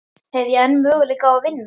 Hef ég enn möguleika á að vinna?